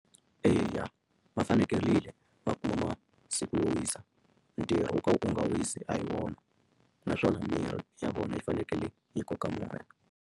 Eya va fanekerile va kuma masiku yo wisa ntirho wo ka u nga wisi a hi wona naswona miri ya vona yi fanekele yi koka moya.